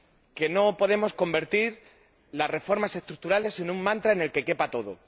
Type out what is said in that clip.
Que no podemos convertir las reformas estructurales en un mantra en el que quepa todo.